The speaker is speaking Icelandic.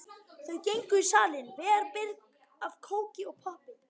Þau gengu í salinn, vel birg af kóki og poppi.